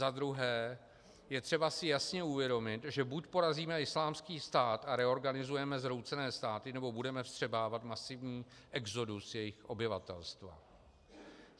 Za druhé, je třeba si jasně uvědomit, že buď porazíme Islámský stát a reorganizujeme zhroucené státy, nebo budeme vstřebávat masivní exodus jejich obyvatelstva.